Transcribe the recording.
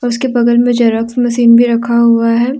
उसके बगल में जेरॉक्स मशीन भी रखा हुआ है।